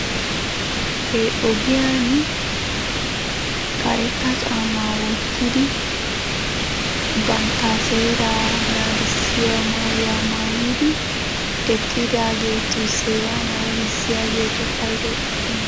He ogiyan karetta caammaa wottidi bantta seeraa naagissiya maayuwa maayidi eqqidaagetu seeraa naagissiyaageetu paydoy aappunee?